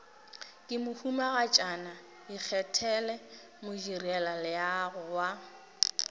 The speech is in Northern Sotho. ke mohumagatšana ikgethele modirelaleago wa